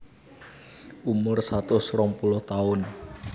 Umur satus rong puluh taun